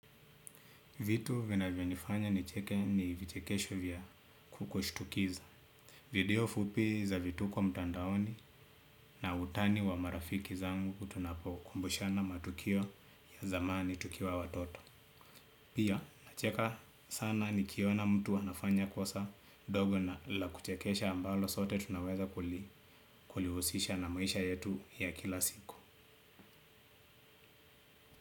Vitu vinavyonifanya nicheke ni vichekesho vya kushtukiza. Video fupi za vituko mtandaoni na utani wa marafiki zangu tunapokumbushana matukio ya zamani tukiwa watoto. Pia nacheka sana nikiona mtu anafanya kosa dogo na la kuchekesha ambalo sote tunaweza kulihusisha na maisha yetu ya kila siku.